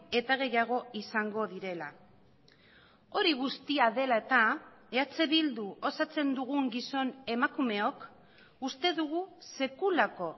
eta gehiago izango direla hori guztia dela eta eh bildu osatzen dugun gizon emakumeok uste dugu sekulako